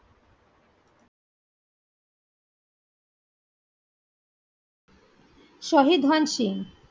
শহীদ হন সিং